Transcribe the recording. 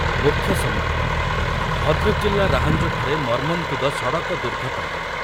ମୁଖ୍ୟ ସମ୍ବାଦ, ଭଦ୍ରକ ଜିଲ୍ଲା ରାହାଞ୍ଜଠାରେ ମର୍ମନ୍ତୁଦ ସଡ଼କ ଦୁର୍ଘଟଣା ।